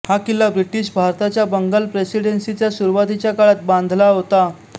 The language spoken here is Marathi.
हा किल्ला ब्रिटिश भारताच्या बंगाल प्रेसिडेंसीच्या सुरुवातीच्या काळात बांधला होते